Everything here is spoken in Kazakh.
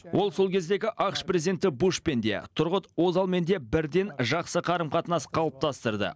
ол сол кездегі ақш президенті бушпен де тұрғыт озалмен де бірден жақсы қарым қатынас қалыптастырды